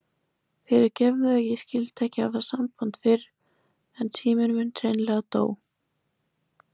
Fyrirgefðu að ég skyldi ekki hafa samband fyrr en síminn minn hreinlega dó.